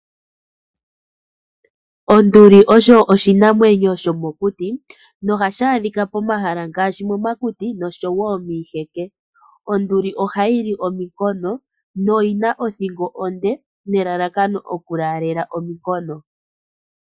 Onduli osho oshinamwenyo shomokuti, nohashi adhika pomahala ngaashi momakuti, noshowo miiheke. Onduli ohayi li ominkono, noyina othingo onde nelalakano okulaalela ominkono.